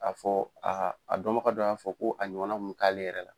A fɔ aa a dɔnbaga dɔ y'a fɔ ko a ɲɔgɔnna kun be k'ale yɛrɛ la.